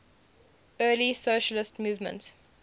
early socialist movement